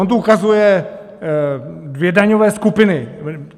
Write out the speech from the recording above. On tu ukazuje dvě daňové skupiny.